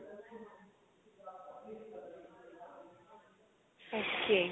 okay